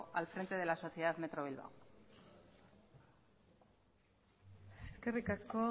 al frente de la sociedad metro bilbao eskerrik asko